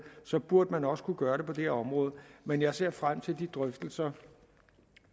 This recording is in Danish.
så burde man også kunne gøre det på det her område men jeg ser frem til de drøftelser